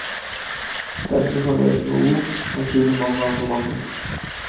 Den som kan leke med ord, kan skjule mange andre mangler.